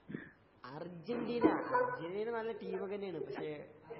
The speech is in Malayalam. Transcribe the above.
അർജന്റീന അർജന്റീന നല്ല ടീമൊക്കെ തന്നാണ് പക്ഷേ